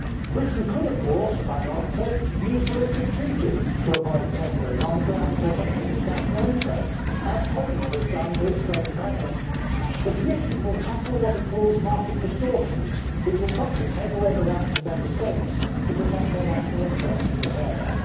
Britain could, of course ironically, use the Lisbon Treaty to avoid tendering on the ground of protecting its national interest, as Poland has done to its great credit. The Commission will tackle what it calls market distortions, which will probably take away the rights of Member States to protect their national interest in this area.